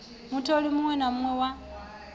mutholiwa muṋwe na muṋwe wa